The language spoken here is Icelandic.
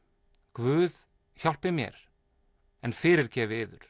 guð hjálpi mér en fyrirgefi yður